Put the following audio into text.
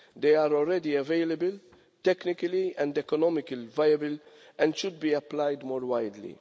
They are already available, technically and economical viable, and should be applied more widely.